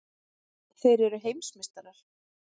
Þeir eru heimsmeistarar!!!